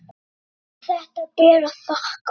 Allt þetta ber að þakka.